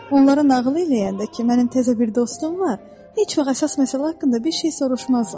Onlara nağıl eləyəndə ki, mənim təzə bir dostum var, heç vaxt əsas məsələ haqqında bir şey soruşmazlar.